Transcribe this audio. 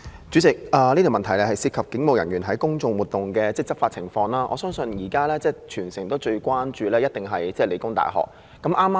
主席，這項質詢涉及警務人員在公眾活動中的執法情況，我相信現時全城最關注的，一定是香港理工大學的情況。